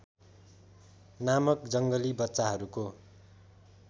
नामक जङ्गली बच्चाहरूको